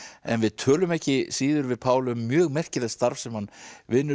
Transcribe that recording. en við tölum ekki síður við Pál um mjög merkilegt starf sem hann vinnur